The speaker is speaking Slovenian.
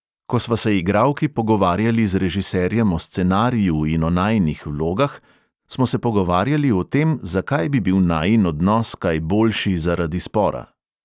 Ko sva se igralki pogovarjali z režiserjem o scenariju in o najinih vlogah, smo se pogovarjali o tem, zakaj bi bil najin odnos kaj boljši zaradi spora.